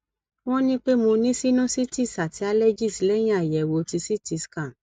won ni pe mo ni sinusitis ati allergies lẹyìn ayewo tí ct scan